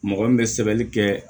Mɔgɔ min bɛ sɛbɛnni kɛ